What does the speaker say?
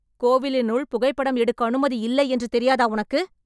கோவிலினுள் புகைப்படம் எடுக்க அனுமதி இல்லை என்று தெரியாதா உனக்கு?